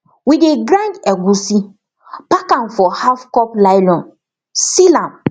we dey grind egusi pack am for halfcup nylon seal am